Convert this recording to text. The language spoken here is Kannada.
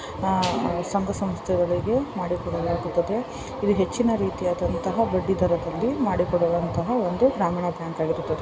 ಅಹ್ ಸಂಘ ಸಂಸ್ಥೆಗಳಿಗೆ ಮಾಡಿಕೊಡಲಾಗುತ್ತದೆ ಇದು ಹೆಚ್ಚಿನ ರೀತಿಯಾದಂತಹ ಬಡ್ಡಿ ದರದಲ್ಲಿ ಮಾಡಿಕೊಡುವಂತಹ ಒಂದು ಗ್ರಾಮೀಣ ಬ್ಯಾಂಕ್ ಆಗಿರುತ್ತದೆ.